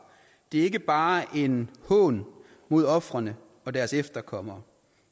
er ikke bare en hån mod ofrene og deres efterkommere